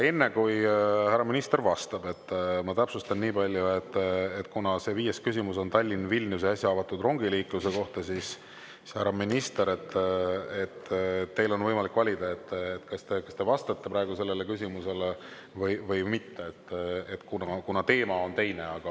Enne, kui härra minister vastab, täpsustan niipalju, et kuna viies küsimus on Tallinna–Vilniuse äsja avatud rongiliikluse kohta, siis, härra minister, on teil võimalik valida, kas te vastate praegu sellele küsimusele või mitte, kuna teema on teine.